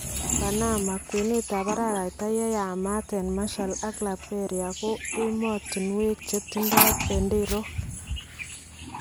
Panama , kwenetab araarayta yeyamat en Marshal ak Liberia ko emotunwek chetindo benderook .